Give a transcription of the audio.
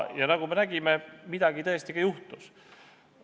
Ja nagu me nägime, midagi tõesti ka juhtus.